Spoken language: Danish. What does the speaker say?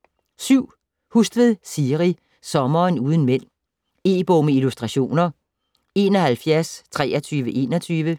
Hustvedt, Siri: Sommeren uden mænd E-bog med illustrationer 712321